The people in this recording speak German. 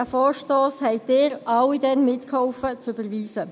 Sie alle halfen damals mit, diesen Vorstoss zu überweisen.